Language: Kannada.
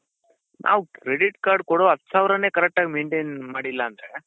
ನಾವ್ credit card ಕೊಡೊ ಹತ್ ಸಾವ್ರನೆ correct ಆಗಿ maintain ಮಾಡಿಲ್ಲ ಅಂದ್ರೆ.